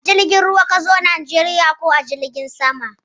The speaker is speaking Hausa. A jirgin ruwa ka zo ko Najeriya ko a jirgin sama?